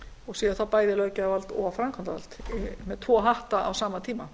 og séu þá bæði löggjafarvald og framkvæmdarvald með tvo hatta á sama tíma